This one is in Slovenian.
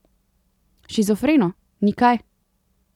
Shizofreno, ni kaj.